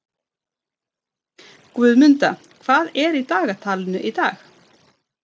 Guðmunda, hvað er á dagatalinu í dag?